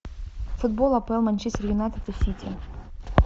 футбол апл манчестер юнайтед и сити